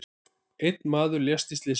Einn maður lést í slysinu.